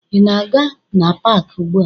Ị na-aga na paakị ugbua?